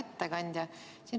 Hea ettekandja!